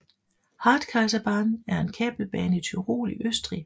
Hartkaiserbahn er en kabelbane i Tyrol i Østrig